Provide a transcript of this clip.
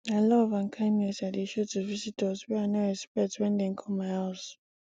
na love and kindness i dey show to visitors wey i no expect wen dem come my house